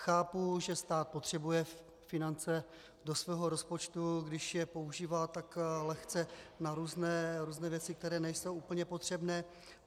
Chápu, že stát potřebuje finance do svého rozpočtu, když je používá tak lehce na různé věci, které nejsou úplně potřebné.